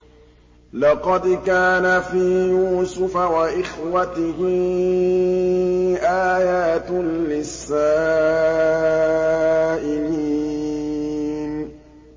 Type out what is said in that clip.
۞ لَّقَدْ كَانَ فِي يُوسُفَ وَإِخْوَتِهِ آيَاتٌ لِّلسَّائِلِينَ